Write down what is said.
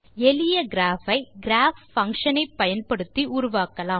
எளிய கிராப் ஐ Graph function ஐ பயன்படுத்தி உருவாக்கலாம்